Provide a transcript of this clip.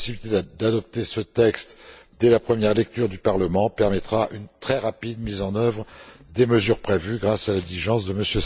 La possibilité d'adopter ce texte à l'issue de la première lecture du Parlement permettra une mise en œuvre très rapide des mesures prévues grâce à l'exigence de M.